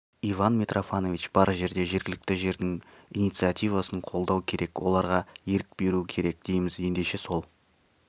иван митрофанович бар жерде жергілікті жердің инициативасын қолдау керек оларға ерік беру керек дейміз ендеше сол